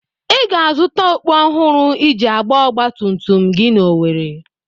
Ị ga-azụta okpú ọhụrụ iji gbaa ọgba tum tum gị n'Owerri.